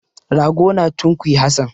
Rago na tunkuyi Hassan.